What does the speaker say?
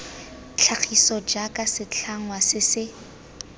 tlhagiso jaaka setlhangwa se se